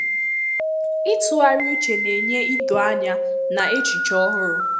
ịtụgharị uche na-enye idoanya na echiche ọhụrụ.